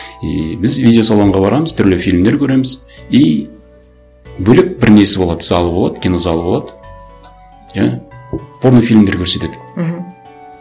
и біз видеосалонға барамыз түрлі фильмдер көреміз и бөлек бір несі болады залы болады кинозалы болады жаңа порнофильмдер көрсетеді мхм